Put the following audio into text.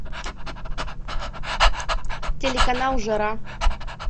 телеканал жара